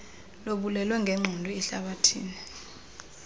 lobulwelwe ngenqondo ehlabathini